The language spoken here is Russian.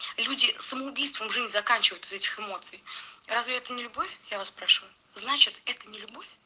люди самоубийством жизнь заканчивают из-за этих эмоций разве это не любовь я вас спрашиваю значит это не любовь